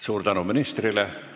Suur tänu ministrile!